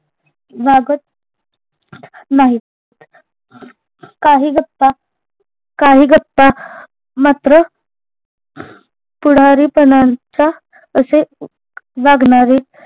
वागत नाहीत काही गप्पा काही गप्पा मात्र पुढारी पानांचा असे वागणारे